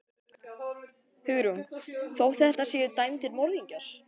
Hugrún: Þó þetta séu dæmdir morðingjar?